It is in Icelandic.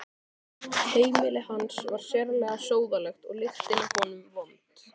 Heimili hans var sérlega sóðalegt og lyktin af honum vond.